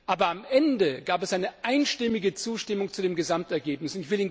Aber am Ende gab es eine einstimmige Zustimmung zu dem Gesamtergebnis.